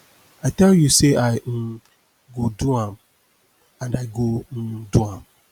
i tell you say i um go do am and i go um do am